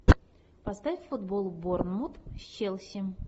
поставь футбол борнмут с челси